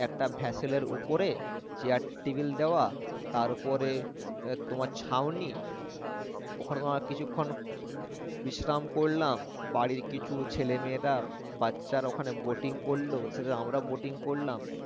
একটা vessel এর উপরে chair table দেওয়া তার উপরে এ তোমার ছাউনি ওখানে তোমার কিছুক্ষন বিশ্রাম করলাম বাড়ির কিছু ছেলেমেয়েরা বাচ্চারা ওখানে boating করল ওর সাথে আমরাও boating করলাম